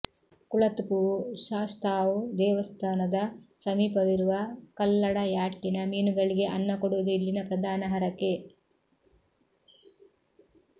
ಕುಳತ್ತುಪುೞ ಶಾಸ್ತಾವ್ ದೆವಸ್ಥಾನದ ಸಮೀಪವಿರುವ ಕಲ್ಲಡಯಾಟ್ಟಿನ ಮೀನುಗಳಿಗೆ ಅನ್ನ ಕೊಡುವದು ಇಲ್ಲಿನ ಪ್ರಧಾನ ಹರಕೆ